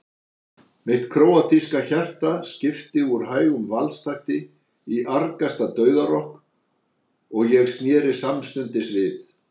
Mitt króatíska hjarta skipti úr hægum valstakti í argasta dauðarokk og ég sneri samstundis við.